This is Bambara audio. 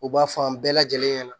U b'a fɔ an bɛɛ lajɛlen ɲɛna